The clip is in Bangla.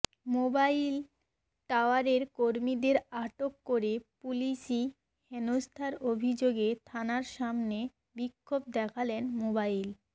মোবাইল টাওয়ারের কর্মীদের আটক করে পুলিশি হেনস্থার অভিযোগে থানার সামনে বিক্ষোভ দেখালেন মোবাইল